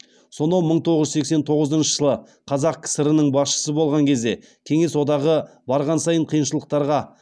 сонау мың тоғыз жүз сексен тоғызыншы жылы қазақ кср нің басшысы болған кезде кеңес одағы барған сайын қиыншылықтарға